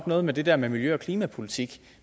noget med det der med miljø og klimapolitik